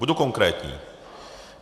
Budu konkrétní.